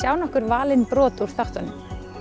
á nokkur valin brot úr þáttunum